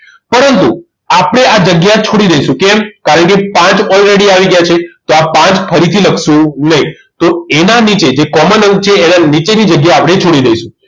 પરંતુ આપણે આ જગ્યા છોડી દઈશું કેમ કારણ કે પાંચ already આવી ગયા છે તો આ પાંચ ફરીથી લખશુ નહીં તો એના નીચે જે common અંક છે એના નીચેની જગ્યાએ આપણે છોડી દઈશું